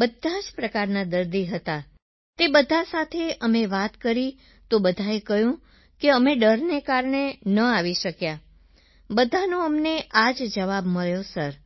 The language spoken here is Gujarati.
બધા જ પ્રકારના દર્દી હતા સર તે બધા સાથે અમે વાત કરી તો બધાએ કહ્યું કે અમે ડરને કારણે ન આવી શક્યા બધાનો અમને આ જ જવાબ મળ્યો સર